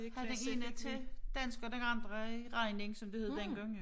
Havde vi hende til dansk og den anden i regning som det hed dengang jo